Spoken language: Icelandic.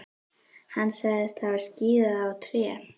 Hann sagðist hafa skíðað á tré.